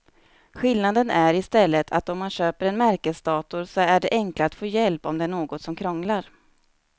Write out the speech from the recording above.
Skillnaden är i stället att om man köper en märkesdator så är det enklare att få hjälp om det är något som krånglar.